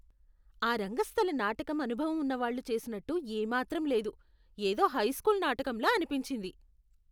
ఆ రంగస్థల నాటకం అనుభవం ఉన్నవాళ్ళు చేసినట్టు ఏ మాత్రం లేదు. ఏదో హైస్కూల్ నాటకంలా అనిపించింది.